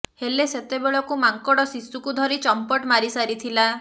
ହେଲେ ସେତବେଳକୁ ମାଙ୍କଡ଼ ଶୁଶୁକୁ ଧରି ଚମ୍ପଟ ମାରି ସାରିଥିଲା